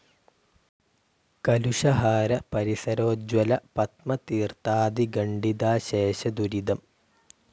കലുഷഹാര പരിസരോജ്ജ്വല പത്മതീർത്ഥാധി ഖണ്ഡിതാശേഷ ദുരിതം.